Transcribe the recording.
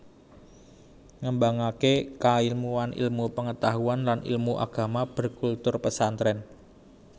Ngembangké kailmuan ilmu pengetahuan lan ilmu Agama berkultur Pesantrèn